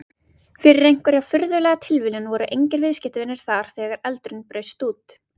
Fyrir einhverja furðulega tilviljun voru engir viðskiptavinir þar þegar eldurinn braust út.